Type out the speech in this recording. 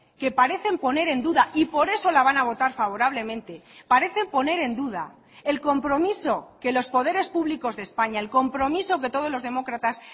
que parecen poner en duda y por eso la van a votar favorablemente parecen poner en duda el compromiso que los poderes públicos de españa el compromiso que todos los demócratas